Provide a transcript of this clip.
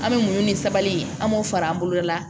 An bɛ mun ni sabali an b'o fara an boloda